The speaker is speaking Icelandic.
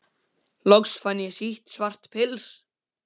Loks fann ég sítt svart pils.